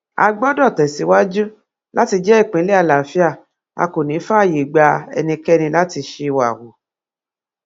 a gbọdọ tẹ síwájú láti jẹ ìpínlẹ àlàáfíà a kò ní í fààyè gba ẹnikẹni láti ṣíwàhu